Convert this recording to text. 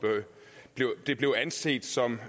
det blev anset som